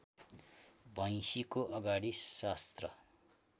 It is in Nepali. भैँसीको अगाडि शास्त्र